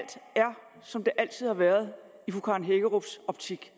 som det altid har været i fru karen hækkerups optik